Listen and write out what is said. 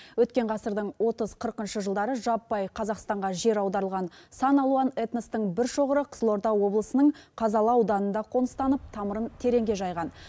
өткен ғасырдың отыз қырқыншы жылдары жаппай қазақстанға жер аударылған сан алуан этностың бір шоғыры қызылорда облысының қазалы ауданында қоныстанып тамырын тереңге жайған